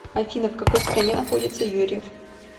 афина в какой стране находится юрьев